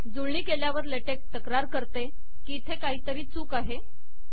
जुळणी केल्यावर लेटेक तक्रार करते की इथे काहीतरी चूक आहे